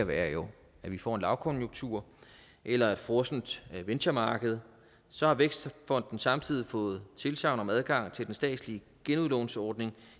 være at vi får lavkonjunktur eller et frossent venturemarked så har vækstfonden samtidig fået tilsagn om adgang til den statslige genudlånsordning